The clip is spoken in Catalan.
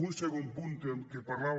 un segon punt que parlava